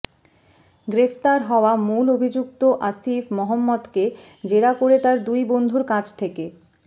গ্রেপ্তার হওয়া মূল অভিযুক্ত আসিফ মহম্মদকে জেরা করে তার দুই বন্ধুর কাছ থেকে